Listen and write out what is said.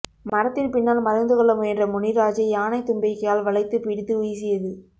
மரத்தின் பின்னால் மறைந்து கொள்ள முயன்ற முனிராஜை யானை தும்பிக்கையால் வளைத்துப் பிடித்து வீசியது